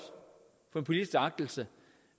for den politiske agtelse